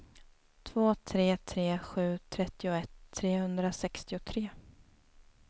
två tre tre sju trettioett trehundrasextiotre